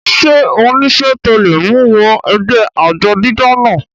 ṣé ó nísẹ́ tó le mú u wọ ẹgbẹ́ àjọ dídá náà?